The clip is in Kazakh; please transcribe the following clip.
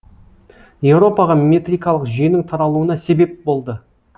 еуропаға метрикалық жүйенің таралуына себеп болды